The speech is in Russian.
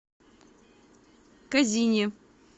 козине